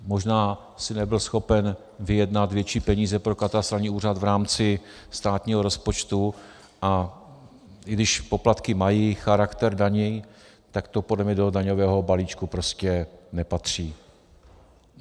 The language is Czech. Možná si nebyl schopen vyjednat větší peníze pro katastrální úřad v rámci státního rozpočtu, a i když poplatky mají charakter daní, tak to podle mě do daňového balíčku prostě nepatří.